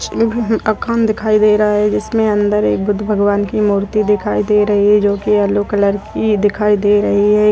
दिखाई दे रहा है । जिसमे अंदर एक बुद्ध भगवान की मूर्ति दिखाई दे रही है । जो की येल्लो कलर की दिखाई दे रही है।